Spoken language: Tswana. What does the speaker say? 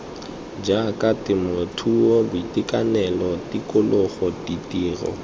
jaaka temothuo boitekanelo tikologo ditiro